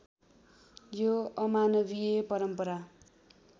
यो अमानवीय परम्परा